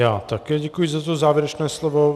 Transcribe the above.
Já také děkuji za to závěrečné slovo.